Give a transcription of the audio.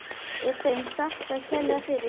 Er þeim þakkað kærlega fyrir.